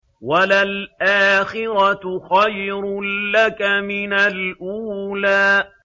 وَلَلْآخِرَةُ خَيْرٌ لَّكَ مِنَ الْأُولَىٰ